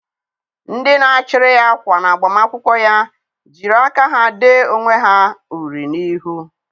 Ndị na a chụrụ ya ákwà na-agbamakwụkwọ ya jiri aka ha dee onwe ha uri n'ihu.